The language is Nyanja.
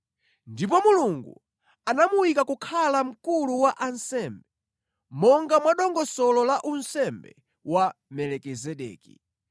Ndipo Mulungu anamuyika kukhala Mkulu wa ansembe, monga mwa dongosolo la unsembe wa Melikizedeki.